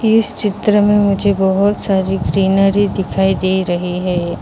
इस चित्र में बहुत सारी ग्रीनरी दिखाई दे रही है ।